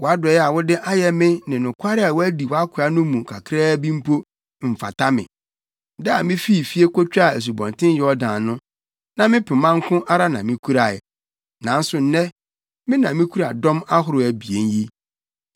Wʼadɔe a wode ayɛ me ne nokware a woadi wʼakoa no mu kakraa bi mpo, mfata me. Da a mifii fie kotwaa Asubɔnten Yordan no, na me pema nko ara na mikurae, nanso nnɛ, me na mikura dɔm ahorow abien yi.